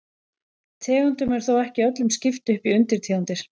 Tegundum er þó ekki öllum skipt upp í undirtegundir.